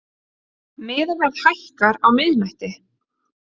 Miðaverð hækkar á miðnætti